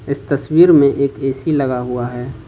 इस तस्वीर में एक ए_सी लगा हुआ है।